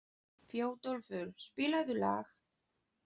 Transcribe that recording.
Þjóðólfur, spilaðu lag.